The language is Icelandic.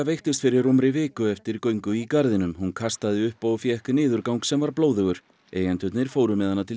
veiktist fyrir rúmri viku eftir göngu í garðinum hún kastaði upp og fékk niðurgang sem var blóðugur eigendurnir fóru með hana til